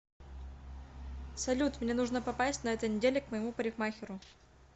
салют мне нужно попасть на этой неделе к моему парикмахеру